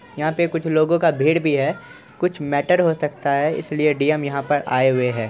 यहां पे कुछ लोगो का भीड़ भी है कुछ मैटर हो सकता है इसलिए डी_एम यहां पर आए हुए हैं।